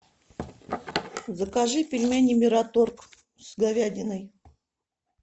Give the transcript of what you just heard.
закажи пельмени мираторг с говядиной